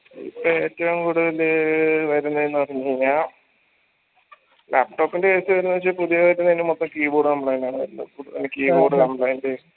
ഏറ്റവും കൂടുതല് വെരുന്നെന്ന് പറഞ്ഞ് കൈനാൽ laptop ൻറെ case വെരുന്നെന്ന് വെച്ച പുതിയതായിട്ട് വെർന്നെ മൊത്തം keyboard complaint ആണ് എല്ലു ഇപ്പൊ